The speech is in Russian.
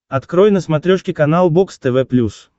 открой на смотрешке канал бокс тв плюс